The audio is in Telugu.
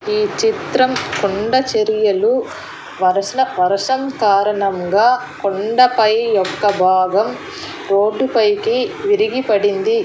ఈ చిత్రం కొండ చర్యలు వరసన వరసం కారణంగా కొండ పై యొక్క భాగం రోడ్డు పైకి విరిగి పడింది.